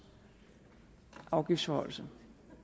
afgiftsforhøjelsen